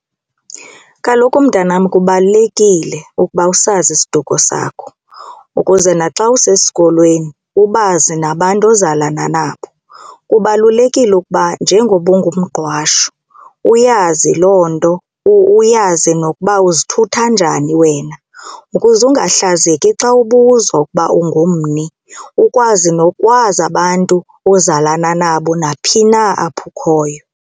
Kaloku, mntanam, kubalulekile ukuba usazi isiduko sakho ukuze naxa usesikolweni ubazi nabantu ozalana nabo. Kubalulekile ukuba njengoba unguMgqwashu uyazi loo nto uyazi kuba nokuba uzithutha njani wena ukuze ungahlazeki xa ubuzwa ukuba ungumni ukwazi nokwazi abantu ozalana nabo naphi na apho ukhoyo.